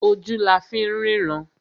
Ojú la fín rínran.